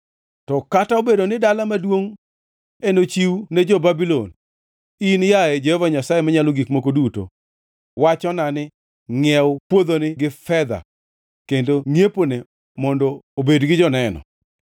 To kata obedo ni dala maduongʼ enochiw ne jo-Babulon, in, yaye Jehova Nyasaye Manyalo Gik Moko Duto, wachona ni, ‘Ngʼiew puodhoni gi fedha kendo ngʼiepone mondo obed gi joneno.’ ”